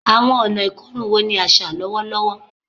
Awọn ọna ikorun wo ni aṣa lọwọlọwọ?